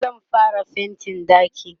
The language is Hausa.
zan fara faintin ɗakin